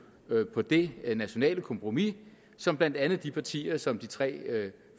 på det nationale kompromis som blandt andet de partier som de tre